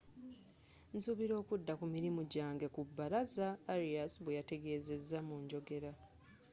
nsuubira okudda ku mirimu gyange ku bbalaza,”arias bweyategezeza mu njogera